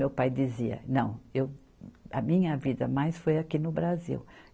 Meu pai dizia, não, eu a minha vida mais foi aqui no Brasil.